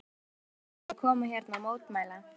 Þórhildur: Hvenær ákvaðstu að koma hérna og mótmæla?